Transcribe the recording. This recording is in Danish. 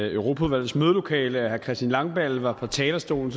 europaudvalgets mødelokale at herre christian langballe var på talerstolen